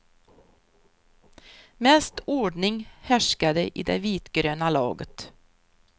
Mest ordning härskade i det vitgröna laget.